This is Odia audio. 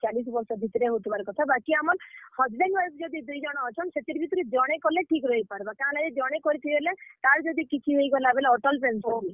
ଚାଲିଶ୍ ବର୍ଷ ଭିତ୍ ରେ ହଉଥିବାର୍ କଥା, ବାକି ଆମର୍ husband, wife ଯଦି ଦୁଇଜଣ ଅଛନ୍, ସେଥିର୍ ଭିତ୍ ରେ ଜଣେ କଲେ ଠିକ୍ ରହି ପାର୍ ବା, କେଁ ହେଲାଜେ ଜଣେ କରିଥିବେ ବେଲେ, ତାର୍ ଯଦି କିଛି ହେଇଗଲା ବେଲେ।